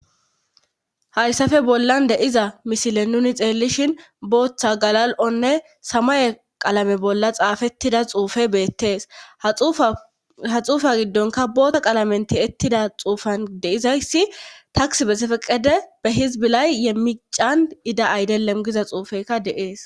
hayssafe bollan deiza misile nuni xeellishin booththa galal7onne samaye qalame bolla xaafettida xuufe beettees ha xuufa giddonka boota qalamen ti ettida xuufan deizayssi taks be sefeqede be hizbilay ye miican ida aydelemgiza xuufekka deees